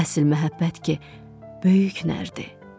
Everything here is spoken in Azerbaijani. Əsl məhəbbət ki, böyük nərdir.